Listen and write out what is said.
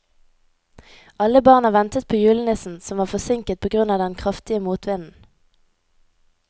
Alle barna ventet på julenissen, som var forsinket på grunn av den kraftige motvinden.